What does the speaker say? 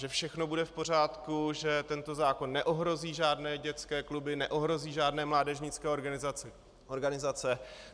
Že všechno bude v pořádku, že tento zákon neohrozí žádné dětské kluby, neohrozí žádné mládežnické organizace.